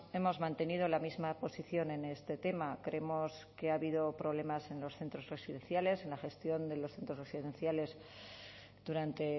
hemos mantenido la misma posición en este tema creemos que ha habido problemas en los centros residenciales en la gestión de los centros residenciales durante